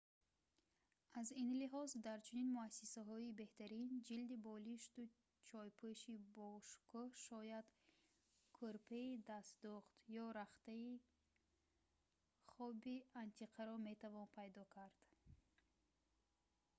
аз ин лиҳоз дар чунин муассисаҳои беҳтарин ҷилди болишту ҷойпӯши бошукӯҳ шояд кӯрпаи дастдӯхт ё рахти хоби антиқаро метавон пайдо кард